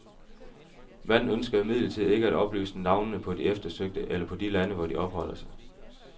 Manden ønsker imidlertid ikke at oplyse navnene på de eftersøgte eller på de lande, hvor de opholder sig.